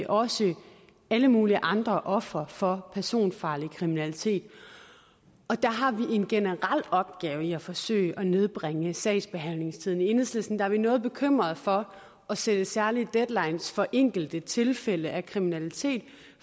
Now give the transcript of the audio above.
også alle mulige andre ofre for personfarlig kriminalitet og der har vi en generel opgave i at forsøge at nedbringe sagsbehandlingstiden i enhedslisten er vi noget bekymrede for at sætte særlige deadlines for enkelte tilfælde af kriminalitet